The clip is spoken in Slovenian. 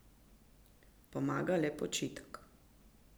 Pomaga le počitek.